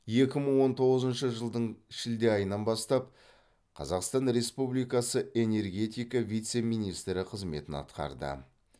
екі мың он тоғызыншы жылдың шілде айынан бастап қазақстан республикасы энергетика вице министрі қызметін атқарды